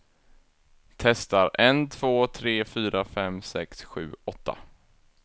Testar en två tre fyra fem sex sju åtta.